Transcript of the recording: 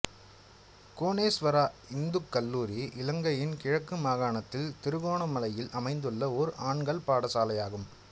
கோணேஸ்வரா இந்துக்கல்லூரி இலங்கையின் கிழக்கு மாகாணத்தில் திருகோணமலையில் அமைந்துள்ள ஓர் ஆண்கள் பாடசாலையாகும்